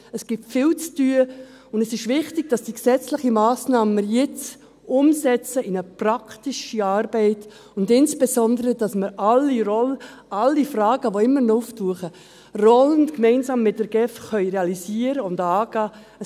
Es gibt viel zu tun, und es ist wichtig, dass wir die gesetzliche Massnahme jetzt umsetzen in eine praktische Arbeit, und insbesondere, dass wir alle Fragen, die immer noch auftauchen, rollend gemeinsam mit der GEF realisieren und angehen können.